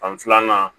Fan filanan